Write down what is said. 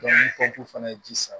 ni kɛci fana ye ji san